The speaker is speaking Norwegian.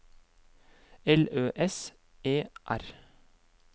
L Ø S E R